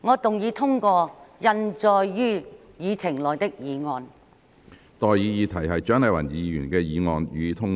我現在向各位提出的待議議題是：蔣麗芸議員動議的議案，予以通過。